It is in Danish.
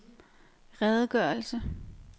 redegørelse